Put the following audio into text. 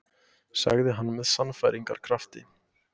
sagði hann með sannfæringarkrafti.